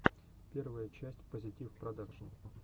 первая часть поситив продакшн